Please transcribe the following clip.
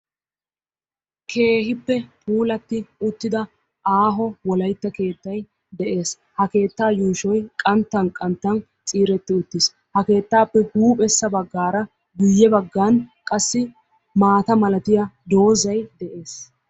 Keehippe puulatti uttida aaho wolayitta keettay de'ees. Ha keettaa yuushoy qanttan qanttan ciiretti uttis. Ha keettaappe huuphessa baggaara guyye baggan qassi maata malatiya doozzay de'ees.